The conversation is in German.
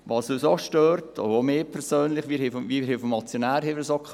Folgendes stört uns, auch mich persönlich, und es wurde auch schon vom Motionär erwähnt: